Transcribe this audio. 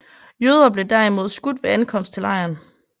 Jøder blev derimod skudt ved ankomst til lejren